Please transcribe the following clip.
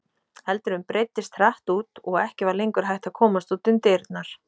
Eldurinn breiddist hratt út og ekki var lengur hægt að komast út um dyrnar.